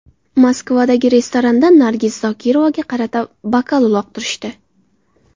Moskvadagi restoranda Nargiz Zokirovaga qarata bokal uloqtirishdi.